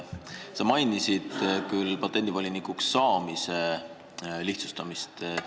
Sa mainisid patendivolinikuks saamise lihtsustamist.